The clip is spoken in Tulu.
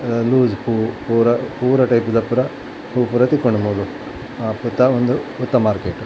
ಅ ಲೂಸ್ ಪೂ ಪೂರ ಪೂರ ಟೈಪುದ ಪುರ ಪೂ ಪೂರ ತಿಕ್ಕುಂಡು ಮೂಲು ಅ ಪೆತ ಉಂದು ಪೂತ ಮಾರ್ಕೆಟ್ .